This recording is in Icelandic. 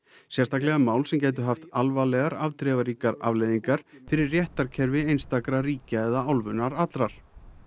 sérstaklega mál sem gætu haft afdrifaríkar afleiðingar fyrir réttarkerfi einstakra ríkja eða álfunnar allrar